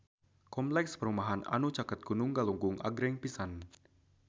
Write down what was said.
Kompleks perumahan anu caket Gunung Galunggung agreng pisan